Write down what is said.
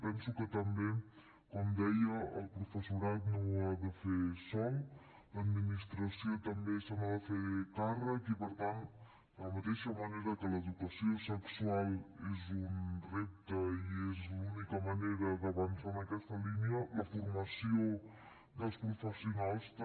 penso que també com deia el professorat no ho ha de fer sol l’administració també se n’ha de fer càrrec i per tant de la mateixa manera que l’educació sexual és un repte i és l’única manera d’avançar en aquesta línia la formació dels professionals també